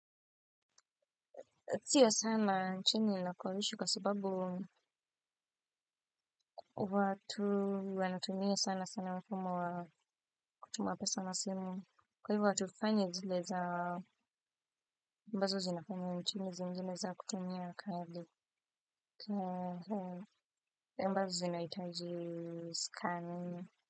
Sio sana nchini ninakoishi kwa sababu watu wanatunia sana sana mfumo wa kutuma pesa na simu. Kwa hivo hatufanyi zile za ambazo zinafanya nchini zingine za kutumia kadi ambazo zinahitaji zisikaniwe.